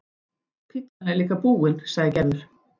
Pitsan er líka búin, sagði Gerður.